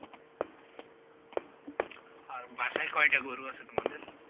আর বাসায় কয়টা গরু আছে তোমাদের?